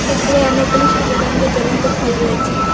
উপরে অনেকগুলি সাদা রঙ্গের জলন্ত ফল রয়েছে।